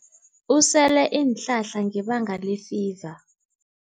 Usele iinhlahla ngebanga lefiva.